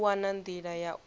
u wana nḓila ya u